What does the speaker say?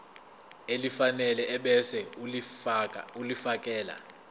elifanele ebese ulifiakela